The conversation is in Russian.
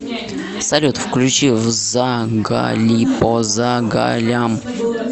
салют включи взагалипозагалям